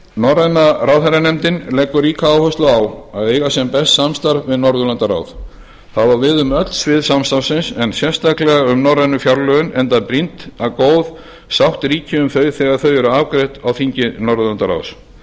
norræna ráðherranefndin leggur ríka áherslu á að eiga sem best samstarf við norðurlandaráð það á við um öll svið samstarfsins en sérstaklega um norrænu fjárlögin enda brýnt að góð sátt ríki um þau þegar þau eru afgreidd á þingi norðurlandaráðs